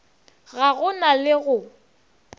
ga go na le go